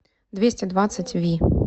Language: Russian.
двести двадцать ви